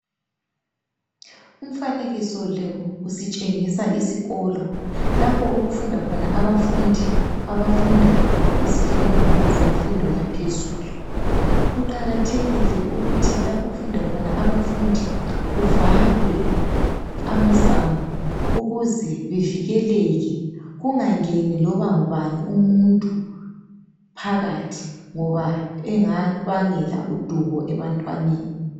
Umfanekiso lo usitshengisa isikolo lapho okufunda khona abafundi abafunda izifundo zemfundo yaphezulu .Kuqakathekile ukuthi lapho okufunda khona abafundi kuvalwe amasango ukuze bevikeleke kungangeni loba ngubani umuntu phakathi ngoba engabangela udubo ebantwaneni.